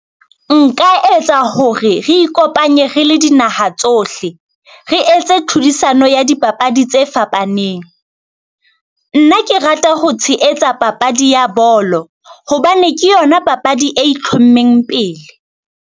Nka etsa hore re ikopanye re le dinaha tsohle, re etse tlhodisano ya dipapadi tse fapaneng. Nna ke rata ho tshehetsa papadi ya bolo, hobane ke yona papadi e itlhommeng pele.